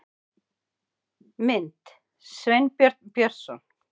Mynd: Sveinbjörn Björnsson